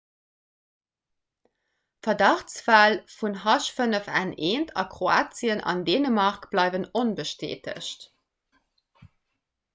verdachtsfäll vun h5n1 a kroatien an dänemark bleiwen onbestätegt